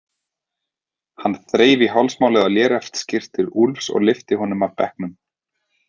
Hann þreif í hálsmálið á léreftsskyrtu Úlfs og lyfti honum af bekknum.